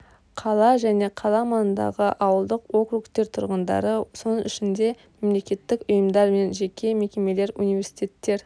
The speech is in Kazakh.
қала және қала маңындағы ауылдық округтер тұрғындары соның ішінде мемлекеттік ұйымдар мен жеке мекемелер университеттер